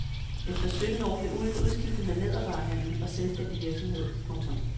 Efter sytten år blev ulden udskiftet med lædervarehandel og selvstændig virksomhed. punktum